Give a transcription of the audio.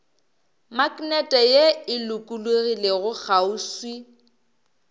maknete ye e lokologilego kgauswi